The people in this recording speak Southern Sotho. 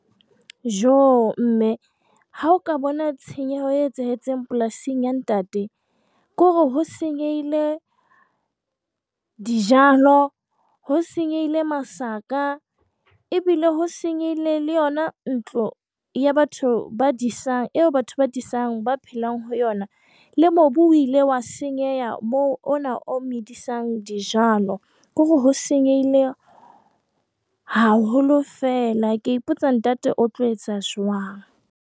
Joh! mme, ha o ka bona tshenyeho e etsahetseng polasing ya ntate, ke hore ho senyehile dijalo, ho senyehile masaka, ebile ho senyehile le yona ntlo eo batho ba disang ba phelang ho yona, le mobu o ile wa senyeha, o na o medisang dijalo, ke hore ho senyehile haholo fela! Ke a ipotsa ntate o tlo etsa jwang?